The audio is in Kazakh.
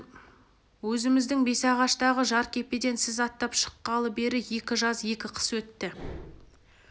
өзіміздің бесағаштағы жеркепеден сіз аттап шыққалы бері екі жаз екі қыс өтті